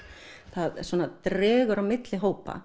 það svona dregur á milli hópa